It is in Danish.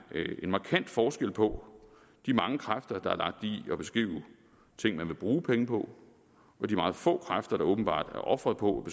en markant forskel på de mange kræfter der er lagt i at beskrive ting man vil bruge penge på og de meget få kræfter der åbenbart er ofret på